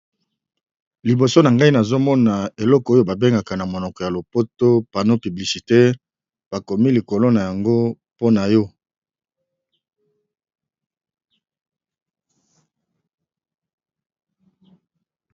Liboso na ngai nazomona eloko oyo babengaka na monoko ya lopoto pano piblicité bakomi likolo na yango mpona yo